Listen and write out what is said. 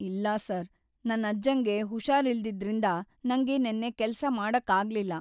ಇಲ್ಲ ಸರ್, ನನ್ ಅಜ್ಜಂಗೆ ಹುಷಾರಿಲ್ದಿದ್ರಿಂದ ನಂಗೆ ನೆನ್ನೆ ಕೆಲ್ಸ ಮಾಡಕ್ಕಾಗ್ಲಿಲ್ಲ.